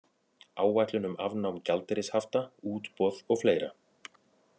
Áætlun um afnám gjaldeyrishafta, útboð og fleira.